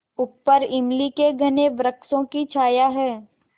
ऊपर इमली के घने वृक्षों की छाया है